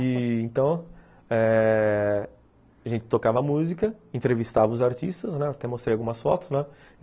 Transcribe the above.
E, então eh... a gente tocava a música, entrevistava os artistas, até mostrei algumas fotos, né?